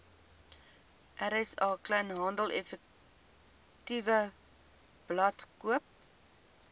rsa kleinhandeleffektewebblad koop